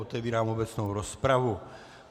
Otevírám obecnou rozpravu.